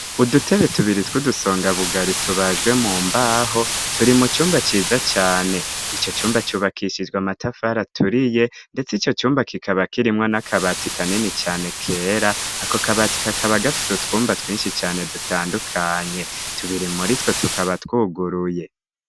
Udutebe tubiri tw' udusonga bugari tubajwe mu mbaho turi mu cumba ciza cane ico cumba cubakishijwe amatafara turiye, ndetse ico cumba kikaba kirimwo n'akabati kanini cane kera ako kabati kakabagafise utwumba twinshi cane dutandukanye tubiri muritwo tukaba twuguruye.